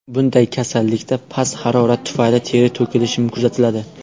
Bunday kasallikda past harorat tufayli teri to‘kilishi kuzatiladi.